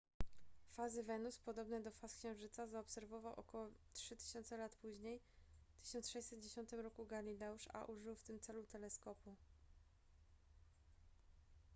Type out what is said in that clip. fazy wenus podobne do faz księżyca zaobserwował około trzy tysiące lat później w 1610 roku galileusz a użył w tym celu teleskopu